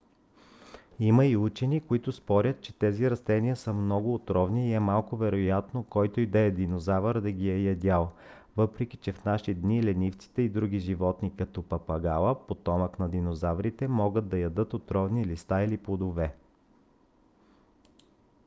има и учени които спорят че тези растения са много отровни и е малко вероятно който и да е динозавър да ги е ядял въпреки че в наши дни ленивците и други животни като папагала потомък на динозаврите могат да ядат отровни листа или плодове